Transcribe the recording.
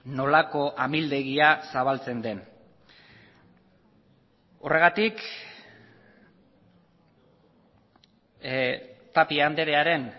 nolako amildegia zabaltzen den horregatik tapia andrearen